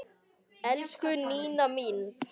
Elsku Nína mín.